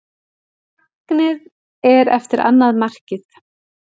Fagnið er eftir annað markið.